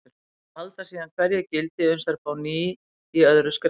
Þær halda síðan hverju gildi uns þær fá ný í öðru skrefi.